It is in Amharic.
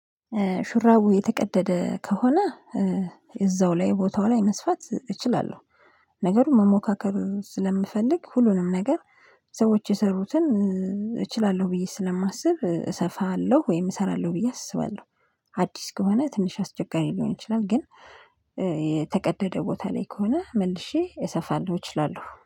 ሹራቡ የተቀደደ ከሆነ እዛው ላይ ቦታው ላይ መስፋት እችላለሁ። ነገሩ መሞካከር ስለምፈልግ ሁሉንም ነገር። ሰዎች የሰሩትን እችላለሁ ብዬ ስለማስብ እሰፋለሁ ወይም እሰራለሁ ብዬ አስባለሁ። አዲስ ከሆነ ትንሽ አስቸጋሪ ሊሆን ይችላል ግን የተቀደደ ቦታ ላይ ከሆነ መልሼ እሰፋለሁ እችላለሁ